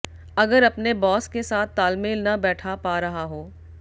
अगर अपने बॉस के साथ तालमेल न बैठ पा रहा हो